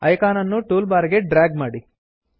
icon ಅನ್ನು tool bar ಗೆ drag ಮಾಡಿ